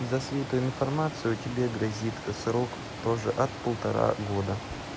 за слитую информацию тебе грозит срок тоже от полтора года